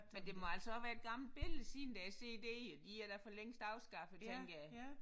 Men det må altså også være et gammelt billede siden der er cd'er de er da forlængst afskaffet tænker jeg